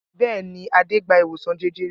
Bẹ́ẹ̀ ni, Adé gba ìwòsàn jẹjẹrẹ.